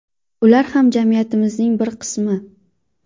Ular ham jamiyatimizning bir qismi.